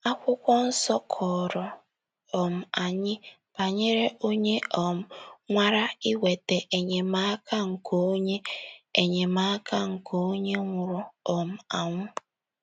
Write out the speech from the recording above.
Akwụkwọ nsọ kọọrọ um anyị banyere onye um nwara ịnweta enyemaka nke onye enyemaka nke onye nwụrụ um anwụ.